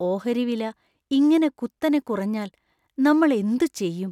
ഓഹരി വില ഇങ്ങനെ കുത്തനെ കുറഞ്ഞാല്‍ നമ്മള്‍ എന്തു ചെയ്യും?